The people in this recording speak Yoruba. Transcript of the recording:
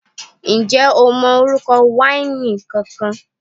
Ǹjẹ́ o mọ orúkọ wáìnì kankan?